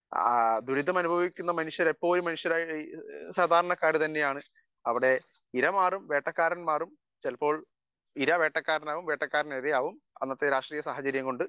speaker 1 ആ ദുരിതമനുഭവിക്കുന്ന മനുഷ്യർ എപ്പോഴും സാധാരണക്കാർ തന്നെയാണ് അവിടെ ഇര മാറും വേട്ടക്കാരൻ മാറും ചില ഇര വേട്ടക്കാരൻ ആവും വേട്ടക്കാരൻ ഇര ആവും അനന്തേ രാഷ്ട്രീയ സാഹചര്യം കൊണ്ട്